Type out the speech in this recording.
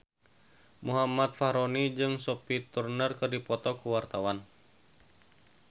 Muhammad Fachroni jeung Sophie Turner keur dipoto ku wartawan